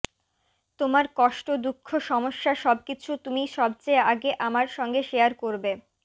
তোমার কষ্ট দুঃখ সমস্যা সবকিছু তুমি সবচেয়ে আগে আমার সঙ্গে শেয়ার করবে